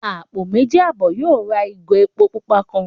Àpò méjì àbọ̀ yóò rà ìgò epo pupa kan